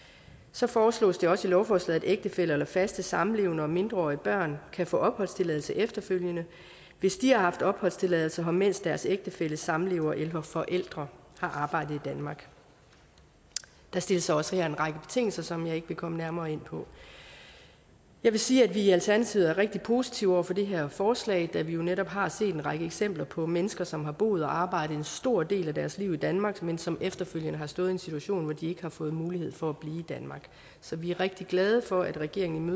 så foreslås det også i lovforslaget at ægtefæller eller faste samlevere og mindreårige børn kan få opholdstilladelse efterfølgende hvis de har haft opholdstilladelse her mens deres ægtefælle samlever eller forældre har arbejdet i danmark der stilles også her en række betingelser som jeg ikke vil komme nærmere ind på jeg vil sige at vi i alternativet er rigtig positive over for det her forslag da vi jo netop har set en række eksempler på mennesker som har boet og arbejdet en stor del af deres liv i danmark men som efterfølgende har stået i en situation hvor de ikke har fået mulighed for at blive i danmark så vi er rigtig glade for at regeringen